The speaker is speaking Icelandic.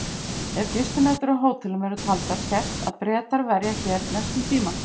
Ef gistinætur á hótelum eru taldar sést að Bretar verja hér mestum tíma.